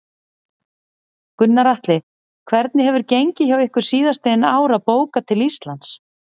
Gunnar Atli: Hvernig hefur gengið hjá ykkur síðastliðin ár að bóka til Íslands?